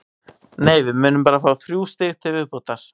Nei, við munum bara fá þrjú stig til viðbótar.